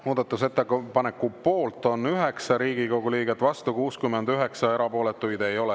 Muudatusettepaneku poolt on 9 Riigikogu liiget, vastu 69, erapooletuid ei ole.